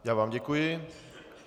Já vám děkuji.